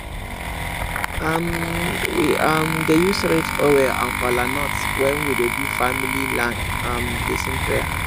um we um dey use red oil and kola nut when we dey do family land um blessing prayer